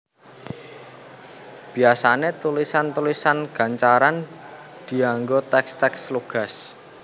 Biyasané tulisan tulisan gancaran dianggo tèks tèks lugas